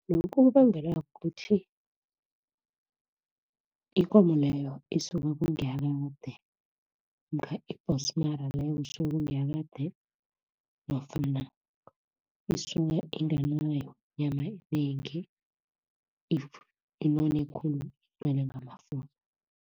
Lokhu kubangelwa kukuthi, ikomo leyo isuke kungiyakade, namkha ibhonsmara leyo kusuke kungiyakade, nofana isuke inganayo inyama enengi, inone khulu